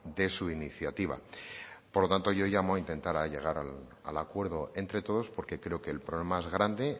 de su iniciativa por lo tanto yo llamo a intentar llegar al acuerdo entre todos porque creo que el problema es grande